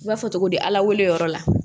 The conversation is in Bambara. I b'a fɔ togo di ala wele yɔrɔ la